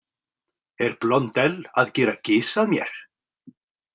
Er Blondelle að gera gys að mér?